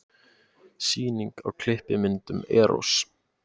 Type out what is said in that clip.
Sýning á klippimyndum Errós